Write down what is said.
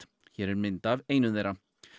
hér er mynd af einu þeirra